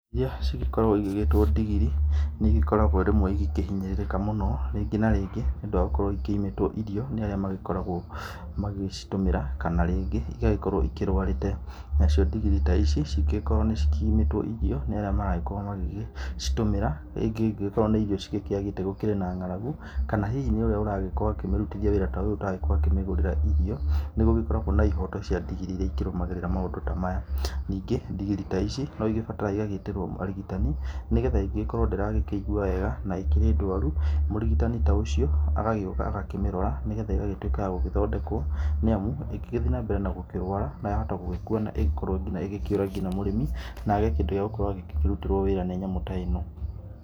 ĩrĩa cigĩkoragwo igĩtwo ndigirĩ, nĩ ĩgĩkoragwo rĩmwe igĩkĩhinyĩrĩrĩka mũno rĩngĩ na rĩngĩ nĩ ũndũ wa gũkorwo ikĩmĩtwo irio nĩ arĩa magĩkoragwo magĩcitũmĩra kana rĩngĩ ĩgagĩkorwo ĩrwarĩte na ciĩ ndigiri ta ĩci cĩngĩgĩkorwo nĩ ĩkĩimwo irio nĩ arĩa mara gĩkorwo magĩcitũmĩra rĩngĩ angĩgĩkorwo nĩ irii ciagĩte gũkĩrĩ na ng'aragũ kana hĩhĩ nĩ ũrĩa aragĩkorwo akĩmĩrũtĩthĩa wĩra ũyũ ataragĩkorwo akĩmĩgũrĩra irio nĩgũgĩkoragwo na ihoto cĩa ndigiri irĩa igĩkoragwo ikĩrũmagĩrĩra maũndũ ta maya, nĩ ngĩ ndigiri ta ici no ibataraga gwĩtĩrwo arĩgitani nĩ getha ĩngĩgĩkorwo ndĩra ĩgũa wega na ĩkrĩ dwarũ mũrigitani ta ũcio agagĩũka agakĩmĩrora na ĩgatũĩka ya gũthodekwo nĩ amũ ĩngĩ gĩthiĩ na mbele na gũkĩrwara ya hota gũgĩkũa na ĩgĩkorwo ĩgĩkĩũra nginya mũrĩmi na age kĩndĩ gĩa kũmũrũtĩra wĩra ta nyamũ taĩno.